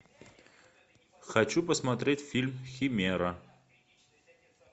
хочу посмотреть фильм химера